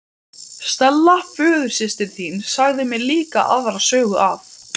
Árabáturinn er úr tré og gulur að lit.